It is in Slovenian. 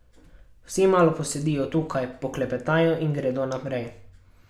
Vsi malo posedijo tukaj, poklepetajo in gredo naprej.